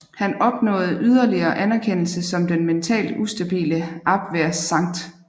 Han opnåede yderligere anerkendelse som den mentalt ustabile Abwehr Sgt